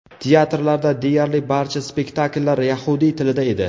Teatrlarda deyarli barcha spektakllar yahudiy tilida edi.